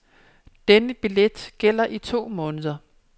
Denne billet gælder i to måneder.